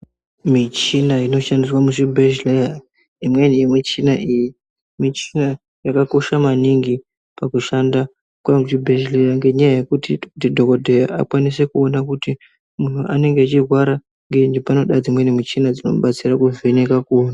Michina inoshandiswa muzvibhedhlera, imweni yemichina iyi michina yakakosha maningi kushanda muzvibhedhlera ngenya yekuti dhokodheya akwanise kuona kuti anorwara ngeyi panoda michina dzinovheneka kuona.